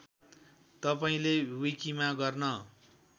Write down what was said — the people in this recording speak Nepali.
तपाईँले विकिमा गर्न